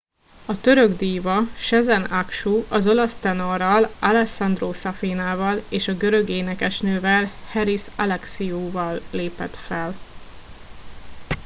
a török díva sezen aksu az olasz tenorral alessandro safina val és a görög énekesnővel haris alexiou val lépett fel